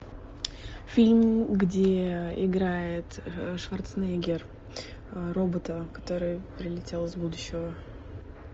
фильм где играет шварценеггер робота который прилетел из будущего